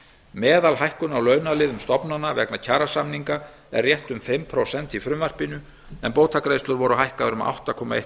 meðalhækkun á launaliðum stofnana vegna kjarasamninga er rétt um fimm prósent í frumvarpinu en bótagreiðslur voru hækkaðar um átta komma eitt